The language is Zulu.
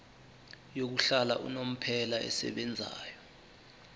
yokuhlala unomphela esebenzayo